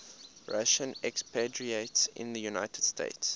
russian expatriates in the united states